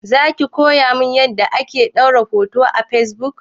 Zaki koya min yanda ake ɗora hoto a fesbuk?